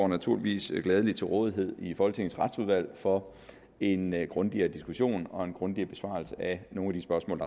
naturligvis gladeligt står til rådighed i folketingets retsudvalg for en grundigere diskussion og en grundigere besvarelse af nogle af de spørgsmål